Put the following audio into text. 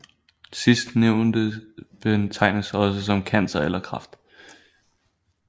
Sidstnævnte betegnes også som cancer eller kræft